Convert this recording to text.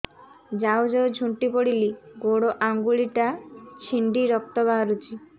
ଯାଉ ଯାଉ ଝୁଣ୍ଟି ପଡ଼ିଲି ଗୋଡ଼ ଆଂଗୁଳିଟା ଛିଣ୍ଡି ରକ୍ତ ବାହାରୁଚି